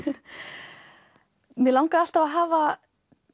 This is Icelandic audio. mig langaði alltaf að hafa